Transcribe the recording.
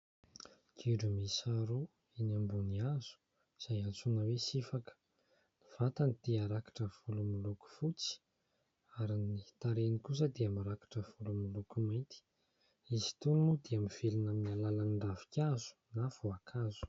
Gidro miisa roa eny ambony hazo izay antsoina hoe sifaka. Ny vatany dia rakotra volo miloko fotsy ary ny tarehiny kosa dia mirakotra volo miloko mainty. Izy itony moa dia mivelona amin'ny alalan'ny ravinkazo na voankazo.